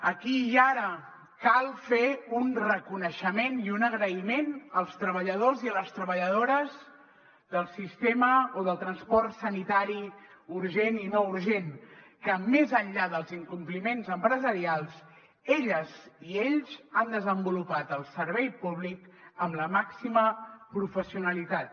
aquí i ara cal fer un reconeixement i un agraïment als treballadors i a les treballadores del sistema o del transport sanitari urgent i no urgent que més enllà dels incompliments empresarials elles i ells han desenvolupat el servei públic amb la màxima professionalitat